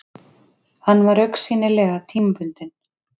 Hann var augsýnilega tímabundinn.